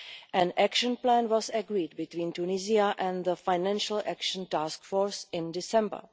An action plan was agreed between Tunisia and the Financial Action Task Force in December.